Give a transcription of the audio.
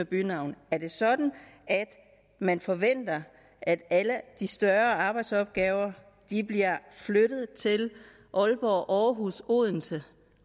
bynavne er det sådan at man forventer at alle de større arbejdsopgaver bliver flyttet til aalborg aarhus og odense